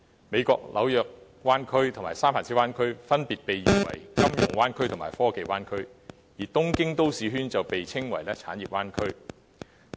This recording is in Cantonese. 美國的紐約灣區及三藩市灣區分別被譽為"金融灣區"及"科技灣區"；而東京都市圈則被稱為"產業灣區"。